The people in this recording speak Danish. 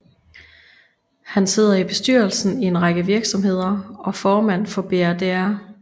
Han sidder i bestyrelsen i en række virksomheder og formand for Brdr